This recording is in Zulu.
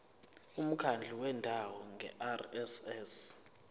umkhandlu wendawo ngerss